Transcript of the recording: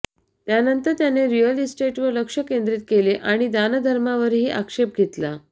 त्यानंतर त्याने रीअल इस्टेटवर लक्ष केंद्रित केले आणि दानधर्मावरही आक्षेप घेतला